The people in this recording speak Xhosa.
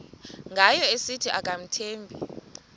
ngayo esithi akamthembi